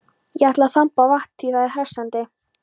Ég ætla að þamba vatn, því það er hressandi.